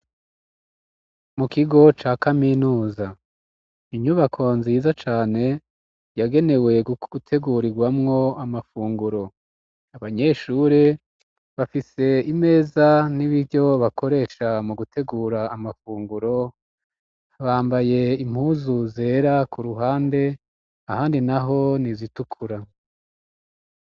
Mu kigo ca kaminuza inyubako nziza cane yagenewe gutegurigwamwo amafunguro abanyeshuri bafise imeza n'ibiryo bakoresha mu gutegura amafunguro bambaye impuzu zera ku ruhande ahandi naho n'izitukura.